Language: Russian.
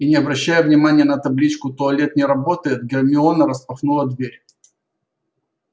и не обращая внимания на табличку туалет не работает гермиона распахнула дверь